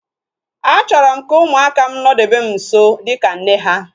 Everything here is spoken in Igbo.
Achọrọ m ka ụmụaka m nodebe m nso dịka nne ha